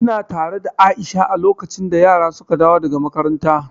Ina tare da Aisha a lokacin da yara suka dawo daga makaranta.